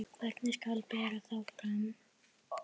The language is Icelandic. Hvernig skal bera þá fram?